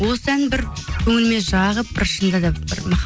осы ән бір көңіліме жағып бір шынында да бір